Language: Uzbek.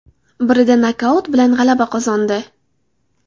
Birida nokaut bilan g‘alaba qozondi.